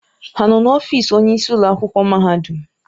Ha nọ n'ọfịs onyeisi ụlọ akwụkwọ mahadum?